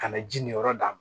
Ka na ji nin yɔrɔ d'a ma